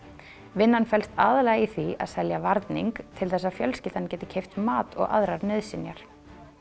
vinnan felst aðallega í því að selja varning til þess að fjölskyldan geti keypt mat og aðrar nauðsynjar